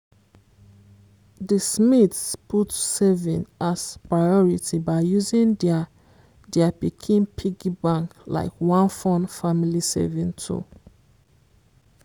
di smiths put saving as priority by using their their pikin piggy bank like one fun family saving tool